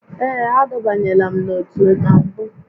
Ee, adọbanyela m n'otu na mbụ